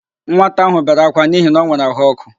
Nwata ahụ bere ákwá n'ihi na o nwere àhụ́ọkụ.